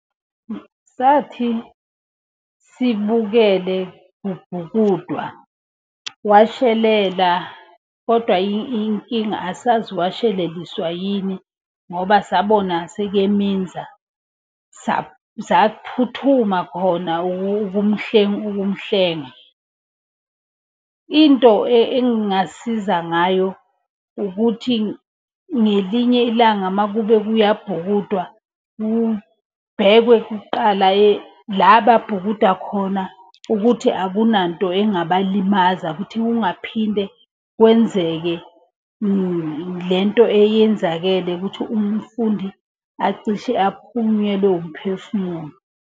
Sathi sibukele kubhukudwa, washelela kodwa inkinga asazi washeleliswa yini ngoba sabona sekeminza. Saphuthuma khona ukumhlenga. Into engingasiza ngayo ukuthi ngelinye ilanga, uma kube kuyabhukudwa kubhekwe kuqala la ababhukuda khona ukuthi akunanto engabalimaza. Ukuthi kungaphinde kwenzeke lento eyenzakele ukuthi umfundi acishe aphunyelwe wumphefumulo.